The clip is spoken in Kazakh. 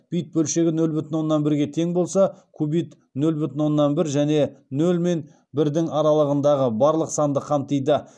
бит бөлшегі нөл бүтін оннан бірге тең болса кубит нөл бүтін оннан бір және нөлмен бірдің аралығындағы барлық санды қамтиды